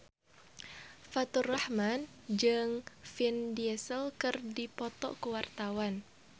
Faturrahman jeung Vin Diesel keur dipoto ku wartawan